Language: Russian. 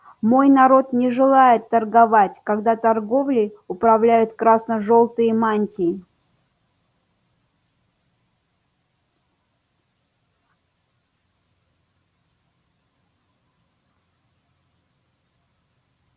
мой народ не желает торговать когда торговлей управляют красно-желтые мантии